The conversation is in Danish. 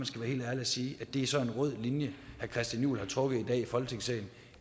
skal være helt ærlig og sige at det så er en rød linje herre christian juhl har trukket i dag i folketingssalen